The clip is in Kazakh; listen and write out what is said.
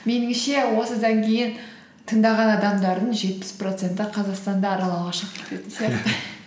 меніңше осыдан кейін тыңдаған адамдардың жетпіс проценті қазақстанды аралауға шығып кететін сияқты